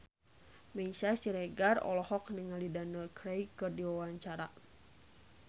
Meisya Siregar olohok ningali Daniel Craig keur diwawancara